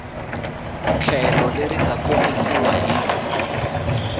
tlhelo leri nga kombisiwa hi